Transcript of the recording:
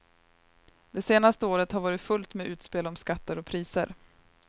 Det senaste året har varit fullt med utspel om skatter och priser.